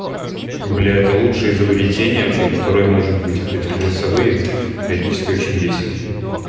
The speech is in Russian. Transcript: бля это лучшее изобретение вообще которое может быть а то эти голосовые периодически очень бесят